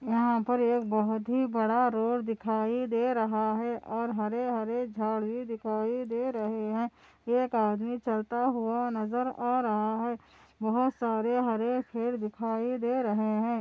यहाँ पर एक बहुत बड़ा रोड दिखाई दे रहा हैं और हरे - हरे झाड़ी दिखाई दे रहे हैं एक आदमी चलता हुआ नजर आ रहा हैं बहुत सारे हरे पेड़ दिखाई दे रहे हैं।